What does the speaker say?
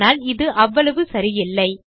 ஆனால் இது அவ்வளவு சரியில்லை